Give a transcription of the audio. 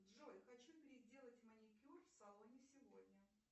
джой хочу переделать маникюр в салоне сегодня